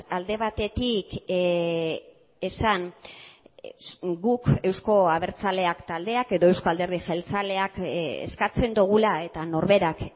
alde batetik esan guk euzko abertzaleak taldeak edo euzko alderdi jeltzaleak eskatzen dugula eta norberak